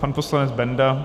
Pan poslanec Benda.